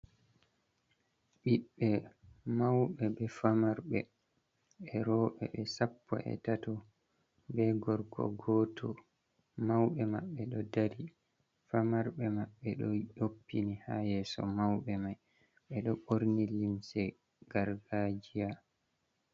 Ɓiɓɓe mauɓe be famarɓe e'roɓe ɓe sappo e'tato be gorko goto. Mauɓe maɓɓe ɗo dari, famarɓe maɓɓe ɗo yoppini haa yeso. Mauɓe mai ɓeɗo ɓorni limse gargajiya.